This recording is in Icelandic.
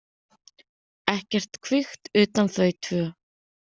Ekkert kvikt utan þau tvö.